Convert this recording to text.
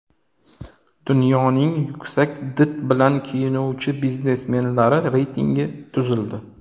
Dunyoning yuksak did bilan kiyinuvchi biznesmenlari reytingi tuzildi .